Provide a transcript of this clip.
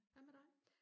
hvad med dig